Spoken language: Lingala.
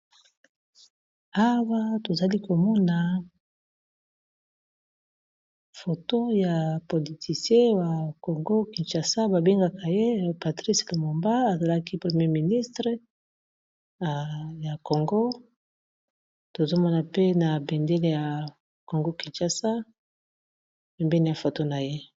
Awa tozali komona photo ya politicien ya congo kinshasa babengaka ye patrice Lumumba azalaki premier ministre ya congo tozomona pe na bendele ya congo kinshasa pembeni ya photo na ye.